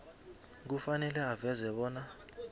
kufanele aveze bona